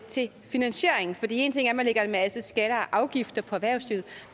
til finansieringen en ting er at man lægger en masse skatter og afgifter på erhvervslivet